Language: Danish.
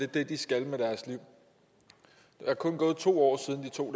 det de skal med deres liv der er kun gået to år siden de tog